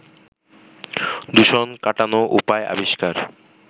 দূষণ কাটানো উপায় আবিষ্কার